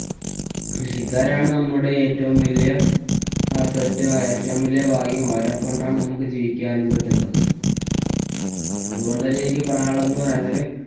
കൃഷിക്കാരാണ് നമ്മുടെ ഏറ്റവും വലിയ asset ന്നു ഏറ്റവും വലിയ ഭാഗ്യം. അവരെക്കൊണ്ടാണ് നമുക്ക് ജീവിക്കാനും പറ്റുന്നത്. അതുകൊണ്ടെന്നെ എനിക്ക് പറയാനുള്ളതെന്ന് പറയാന്‍ നേരം